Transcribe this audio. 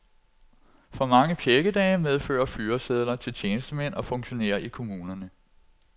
For mange pjækkedage medfører fyresedler til tjenestemænd og funktionærer i kommunerne.